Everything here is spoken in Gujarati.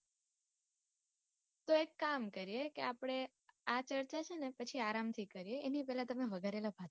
તો એક કામ કરીએ કે આપડે આ ચર્ચા છે ને પછી આરામ થી એની પેલા તમે વઘારેલા ભાત